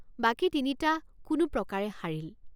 বাকী তিনিটা কোনো প্ৰকাৰে সাৰিল।